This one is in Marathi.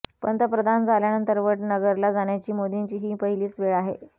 पंतप्रधान झाल्यानंतर वडनगरला जाण्याची मोदींची ही पहिलीच वेळ आहे